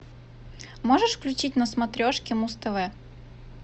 можешь включить на смотрешке муз тв